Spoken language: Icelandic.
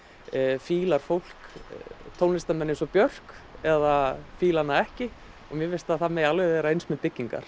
fílar fólk tónlistarmenn eins og Björk eða fílar hana ekki mér finnst að það megi alveg vera eins með byggingar